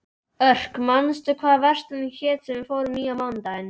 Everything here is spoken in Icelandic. Örk, manstu hvað verslunin hét sem við fórum í á mánudaginn?